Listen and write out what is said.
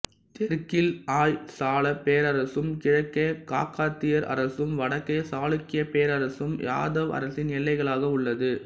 தெற்கில் ஹொய்சாளப் பேரரசும் கிழக்கே காக்காதியர் அரசும் வடக்கே சாளுக்கியப் பேரரசும் யாதவப் அரசின் எல்லைகளாக உள்ளது